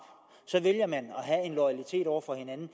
og en loyalitet over for hinanden